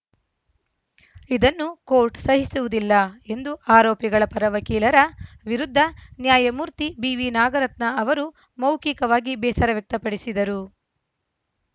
ಇದನ್ನು ಕೋರ್ಟ್‌ ಸಹಿಸುವುದಿಲ್ಲ ಎಂದು ಆರೋಪಿಗಳ ಪರ ವಕೀಲರ ವಿರುದ್ಧ ನ್ಯಾಯಮೂರ್ತಿ ಬಿವಿನಾಗರತ್ನ ಅವರು ಮೌಖಿಕವಾಗಿ ಬೇಸರ ವ್ಯಕ್ತಪಡಿಸಿದರು